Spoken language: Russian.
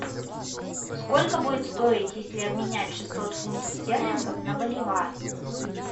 сколько будет стоить если обменять шестьсот фунтов стерлингов на боливар